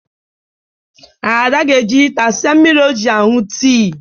Ada ga-eji hịta siei mmiri o ji aṅụ tị